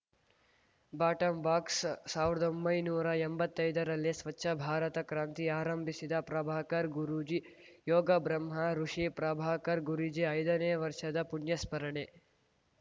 ಬಾಟಂಬಾಕ್ಸ ಸಾವಿರದೊಂಬೈನೂರಾ ಎಂಬತ್ತೈದರಲ್ಲೇ ಸ್ವಚ್ಛ ಭಾರತ ಕ್ರಾಂತಿ ಆರಂಭಿಸಿದ ಪ್ರಭಾಕರ್‌ ಗುರೂಜಿ ಯೋಗ ಬ್ರಹ್ಮ ಋಷಿ ಪ್ರಭಾಕರ್‌ ಗುರೂಜಿ ಐದನೇ ವರ್ಷದ ಪುಣ್ಯಸ್ಮರಣೆ